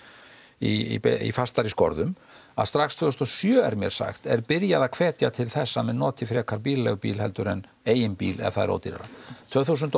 í fastari skorðum að strax tvö þúsund og sjö er mér sagt er byrjað að hvetja til þess að menn noti frekar bílaleigubíl heldur en eigin bíl ef það er ódýrara tvö þúsund og